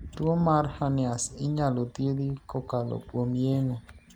Tuo mar Hernias inyalo thiedhi kakalo kuom yeng'o.